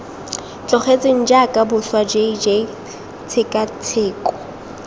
tlogetsweng jaaka boswa jj tshekatsheko